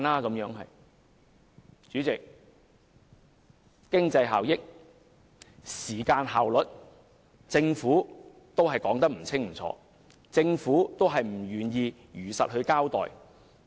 代理主席，關於經濟效益及時間效率，政府仍說得不清不楚，仍不願意如實交代。